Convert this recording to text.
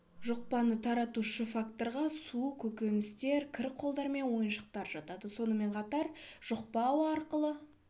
жұқпаны таратушы факторға су көкөністер кір қолдар мен ойыншықтар жатады сонымен қатар жұқпа ауа арқылы